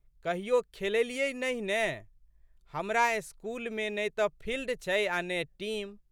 कहियो खेललियै नहि ने। हमरा स्कूलमे ने तऽ फिल्ड छै आ' ने टीम।